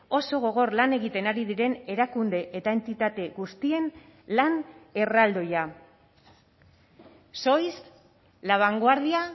oso gogor lan egiten ari diren erakunde eta entitate guztien lan erraldoia sois la vanguardia